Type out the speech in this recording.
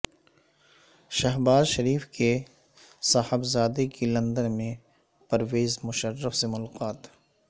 شہباز شریف کے صا حبزادے کی لندن میں پرویز مشرف سے ملاقات